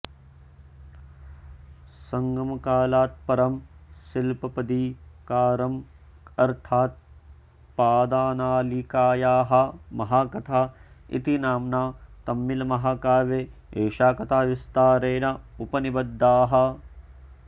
सङ्गमकालात् परं सिलप्पदिकारम् अर्थात् पादनालिकायाः महाकथा इति नाम्ना तमिल्महाकाव्ये एषा कथा विस्तरेण उपनिबद्धा